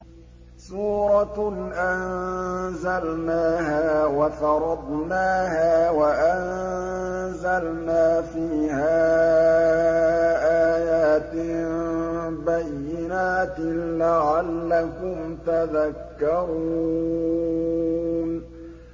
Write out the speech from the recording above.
سُورَةٌ أَنزَلْنَاهَا وَفَرَضْنَاهَا وَأَنزَلْنَا فِيهَا آيَاتٍ بَيِّنَاتٍ لَّعَلَّكُمْ تَذَكَّرُونَ